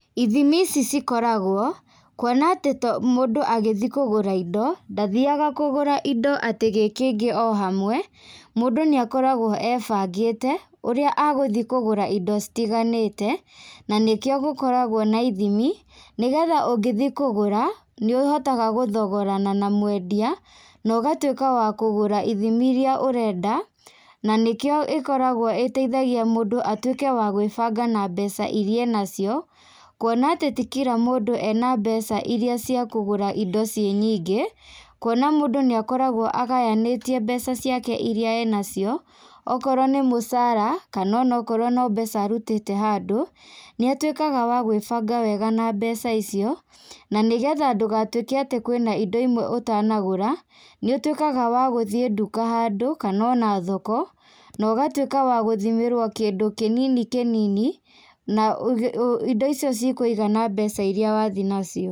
Ithimi ici cikoragwo, kuona atĩ to mũndũ agĩthiĩ kũgũra indo, ndathiaga kũgũra indo atĩ gĩkĩingĩ o hamwe, mũndũ nĩakoragwo ebangĩte, ũrĩa agũthiĩ kũgũra indo citiganĩte, na nĩkĩo gũkoragwo na ithimi, nĩgetha ũngĩthiĩ kũgũra, nĩũhotaga gũthogorana na mwendia, na ũgatuĩka wa kũgũra ithimi iria ũrenda, na nĩkĩo ĩkoragwo ĩteithagia mũndũ atuĩke wa gwĩbanga na mbeca iria enacio, kuona atĩ ti kira mũndũ ena mbeca iria cia kũgũra indo ciĩ nyingĩ, kuona mũndũ nĩakoragwo agayanĩtie mbeca ciake iria e nacio, okorwo nĩ mũcara, kana onakorwo nĩ mbeca arutĩte handũ, nĩatuĩkaga wa gwĩbanga wega na mbeca icio, na nĩgetha ndũgatuĩke atĩ kwĩna indo imwe ũtanagũra, nĩũtuĩkaga wa gũthiĩ nduka handũ, kana ona thoko, na ũgatuĩka wa gũthimĩrwo kĩndũ kĩnini kĩnini na indo icio cikũigana mbeca iria wathiĩ nacio.